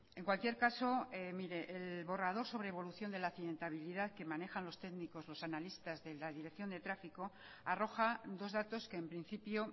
en cualquier caso mire el borrador sobre evaluación de la accidentalidad que manejan los técnicos los analistas de la dirección de tráfico arroja dos datos que en principio